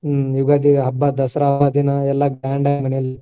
ಹ್ಮ್ ಯುಗಾದಿ ಹಬ್ಬ, ದಸರಾ ಹಬ್ಬ ದಿನ ಎಲ್ಲ grand ಆಗಿ ಮನೇಲಿ